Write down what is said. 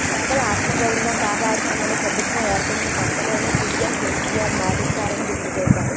పేదల ఆత్మగౌరవం కాపాడతామని ప్రభుత్వం ఏర్పడిన కొత్తలోనే సీఎం కేసీఆర్ మాటిచ్చారని గుర్తుచేశారు